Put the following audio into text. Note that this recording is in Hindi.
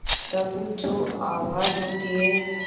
तब जो आवाज़ होती है